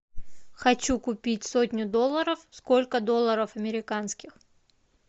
хочу купить сотню долларов сколько долларов американских